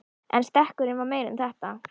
En stekkurinn var meira en þetta.